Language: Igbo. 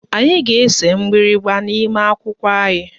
Anyị ga-ese mgbịrịgba n'ime akwụkwọ anyị